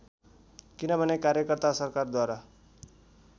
किनभने कार्यकर्ता सरकारद्वारा